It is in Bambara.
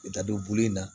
I bɛ taa don bulu in na